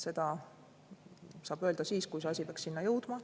Seda saab öelda siis, kui see asi peaks sinna jõudma.